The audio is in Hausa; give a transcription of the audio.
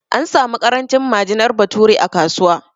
An samu ƙarancin majinar bature a kasuwa